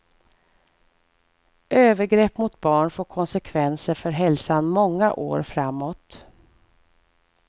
Övergrepp mot barn får konsekvenser för hälsan många år framåt.